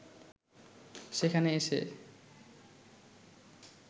সেখানে এসে